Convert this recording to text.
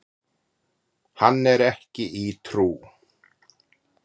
Hann er ekki í trú.